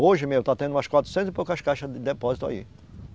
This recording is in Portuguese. Hoje mesmo está tendo umas quatrocentas e poucas caixas de depósito aí.